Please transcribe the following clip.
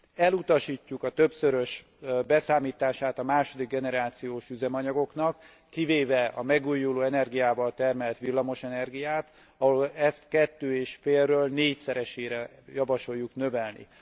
Elutasítjuk a többszörös beszámítását a második generációs üzemanyagoknak, kivéve a megújuló energiával termelt villamos energiát, ahol ezt 2,5 ről 4 szeresére javasoljuk növelni.